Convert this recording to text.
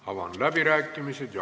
Avan läbirääkimised.